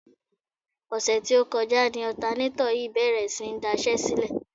Ọ̀sẹ̀ tí ó kọjá ni ọ̀tanátọ̀ yìí bèrè sí ní daṣẹ́sílẹ̀.